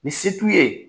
Ni se t'u ye